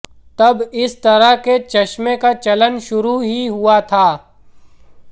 तब इस तरह के चश्मे का चलन शुरू ही हुआ था